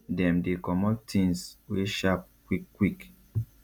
dem dey comot things wey sharp quick quick